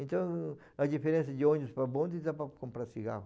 Então, a diferença de ônibus para bonde dá para comprar cigarro.